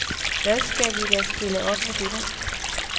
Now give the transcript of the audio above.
Hvad skal vi da stille op med dette?